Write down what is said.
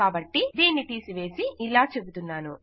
కాబట్టి దీన్ని తీసివేసి ఇలా చెబుతున్నాను